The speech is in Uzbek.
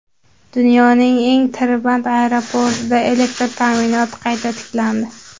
Dunyoning eng tirband aeroportida elektr ta’minoti qayta tiklandi.